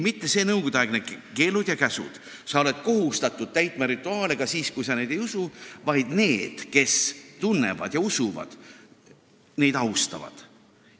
Mitte nõukogudeaegsed keelud ja käsud, et sa oled kohustatud täitma rituaale ka siis, kui sa neid ei usu, vaid need, kes tunnevad ja usuvad, austavad neid.